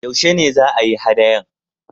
Yaushe ne za a yi haɗayan?